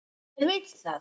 Hver vill það?